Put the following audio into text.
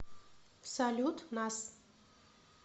салют нас